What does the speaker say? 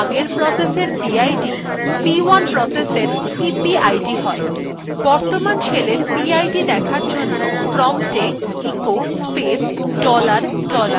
বর্তমান শেলের পিআইডি দেখার জন্য promptএ echo space dollar dollar লিখলাম এবং enter টিপলাম